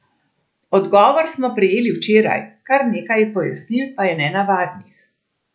Odgovor smo prejeli včeraj, kar nekaj pojasnil pa je nenavadnih...